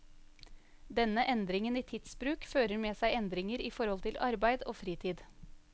Denne endringen i tidsbruk fører med seg endringer i forhold til arbeid og fritid.